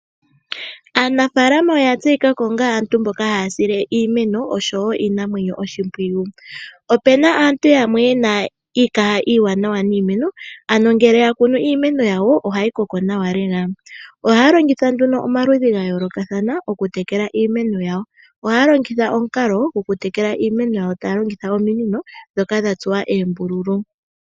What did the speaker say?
Aanafalama oya tseyikako onga aantu mboka haya sile iimeno osho wo iinamwenyo oshimpwiyu. Opena aantu yamwe yena iikaha iiwanawa niimeno, ano ngele oya kunu iimeno yawo ohayi koko nawa lela, ohaya longitha nduno omaludhi ga yoolokatha oku tekela iimeno yawo, ohaya longitha omukalo goku tekela iimeno yawo, taya longitha ominino dhoka dha tsuwa oombululu.